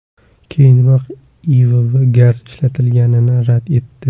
Keyinroq IIV gaz ishlatilganini rad etdi.